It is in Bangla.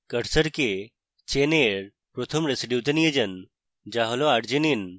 cursor chain a এর প্রথম residue তে নিয়ে আসুন যা হল arginine